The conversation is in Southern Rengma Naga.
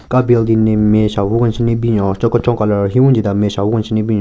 Ka building ne nme shahvu kenshen ne binyon cho kechon colour cho wingi da nme shahvu kenshen ne binyon.